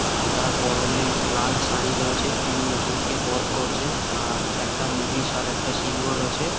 অ্যাঁ তার পরনে লাল শাড়ী রয়েছে। তিনি অসুর কে বধ করছেন। আর একটা মহিষ আর একটা সিংহ রয়েছে।